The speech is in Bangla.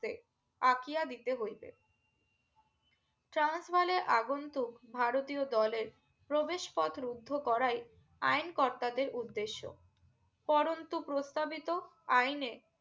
আকিয়া দিতে হইবে ট্রান্স বালের আগুন্ত ভারতীয় দলের প্রবেশ পথ রুদ্ধ করায় আইন কর্তাদের উর্দ্দেশ্য পরন্ত প্রস্তাবিত আইনে